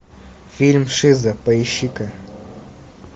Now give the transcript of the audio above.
фильм шиза поищи ка